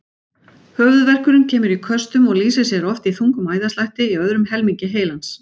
Höfuðverkurinn kemur í köstum og lýsir sér oft í þungum æðaslætti í öðrum helmingi heilans.